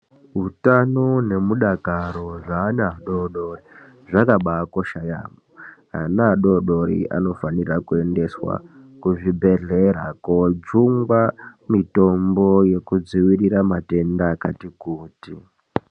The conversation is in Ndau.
Hutano nemudakaro zveana adodori zvakabakosha yaamho. Ana adodori anofanakuendesa kuzvibhedhlera kojungwa mitombo yekudzivirira matenda akati kuti.